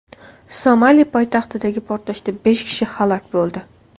Somali poytaxtidagi portlashda besh kishi halok bo‘ldi.